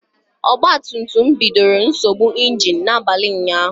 Ogba tum tum bidoro nsogbu ịnginu n'abalị ụnyaahụ